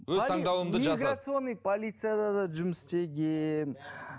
миграционный полицияда да жұмыс істегенмін